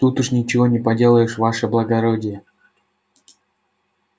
тут уж ничего не поделаешь ваше благородие